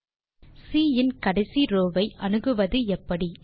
தே சி இன் கடைசி ரோவ் ஐ அணுகுவது எப்படி